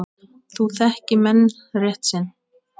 Nú þekki menn rétt sinn.